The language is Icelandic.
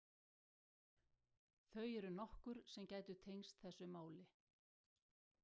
Þau eru nokkur sem gætu tengst þessu máli.